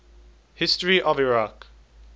history of iraq